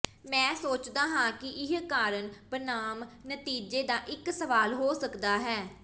ਮੈਂ ਸੋਚਦਾ ਹਾਂ ਕਿ ਇਹ ਕਾਰਨ ਬਨਾਮ ਨਤੀਜੇ ਦਾ ਇੱਕ ਸਵਾਲ ਹੋ ਸਕਦਾ ਹੈ